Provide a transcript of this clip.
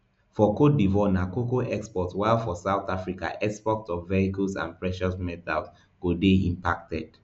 for cote divoire na cocoa exports while for south africa exports of vehicles and precious metals go dey impacted